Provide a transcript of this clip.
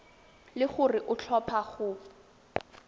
le gore o tlhopha go